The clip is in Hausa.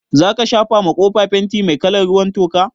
Zaka shafa ma kofa fenti mai kalar ruwan toka?